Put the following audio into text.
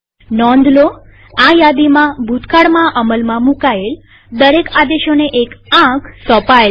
નોંધલોઆ યાદીમાંભૂતકાળમાં અમલમાં મુકાયેલ દરેક આદેશોને એક આંક સોંપાયેલ છે